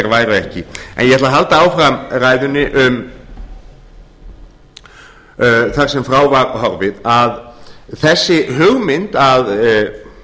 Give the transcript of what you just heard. væru ekki en ég ætla að halda áfram ræðunni um það sem frá var horfið að þessi hugmynd